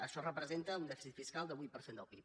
això representa un dèficit fiscal del vuit per cent del pib